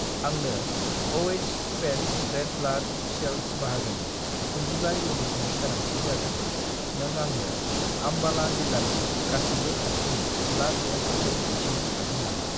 आंनो Oh- पेक्ट red blood cells बाहागोनि 35 इउनिटनि गोनांथि जादों, नों आंनो आम्बाला जिल्लानि गासिबो खाथिनि ब्लाड बेंकफोरखौ दिन्थिनो हागोन नामा?